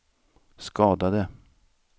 skadade